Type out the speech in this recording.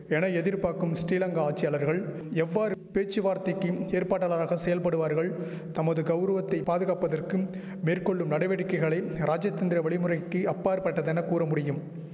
என எதிர்பாக்கும் ஸ்ரீலங்கா ஆட்சியாளர்கள் எவ்வாறு பேச்சுவார்த்தைக்கிம் ஏற்பாட்டாளராக செயல்படுவார்கள் தமது கௌரவத்தை பாதுகாப்பதற்கும் மேற்கொள்ளும் நடவடிக்கைகளை ராஜதந்திர வழிமுறைக்கி அப்பாற்பட்டதென கூறமுடியும்